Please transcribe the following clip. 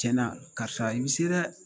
Cɛn na karisa i bi se dɛ